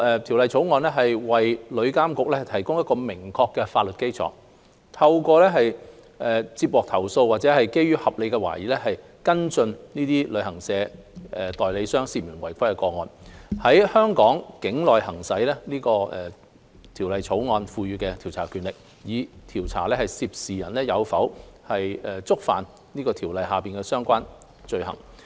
《條例草案》為旅監局提供明確的法律基礎，透過接獲投訴或基於合理懷疑，跟進這些旅行代理商涉嫌違規的個案，於香港境內行使《條例草案》賦予的調查權力，以調查涉事人士有否觸犯《條例草案》下的相關罪行。